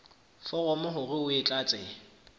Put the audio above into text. foromo hore o e tlatse